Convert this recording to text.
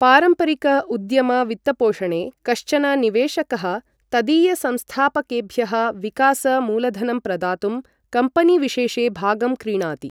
पारम्परिक उद्यम वित्तपोषणे कश्चन निवेशकः तदीयसंस्थापकेभ्यः विकास मूलधनं प्रदातुं कम्पनीविशेषे भागं क्रीणाति।